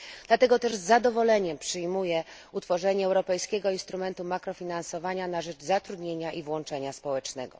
Dlatego też z zadowoleniem przyjmuję utworzenie Europejskiego Instrumentu Mikrofinansowania na rzecz zatrudnienia i włączenia społecznego.